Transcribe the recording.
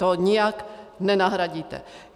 To nijak nenahradíte.